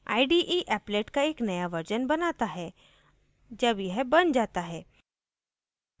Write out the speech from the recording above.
ide applet का एक नया version बनाता है जब यह बन जाता है